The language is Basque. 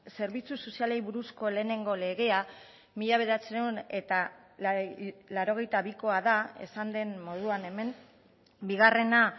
zerbitzu sozialei buruzko lehenengo legea mila bederatziehun eta laurogeita bikoa da esan den moduan hemen bigarrena